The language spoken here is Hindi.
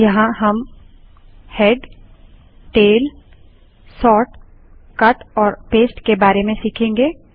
यहाँ हम हेड टेलसोर्टकट और पेस्ट के बारे में सीखेंगे